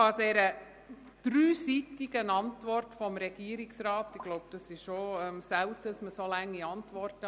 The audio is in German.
Der dreiseitigen Antwort des Regierungsrats kann ich nicht viel beifügen, und ich glaube, man schreibt selten solch lange Antworten.